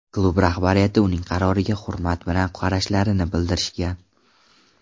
Klub rahbariyati uning qaroriga hurmat bilan qarashlarini bildirishgan.